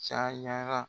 Cayara